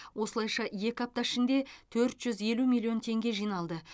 осылайша екі апта ішінде төрт жүз елу миллион теңге жиналды